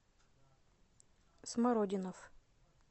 смородинов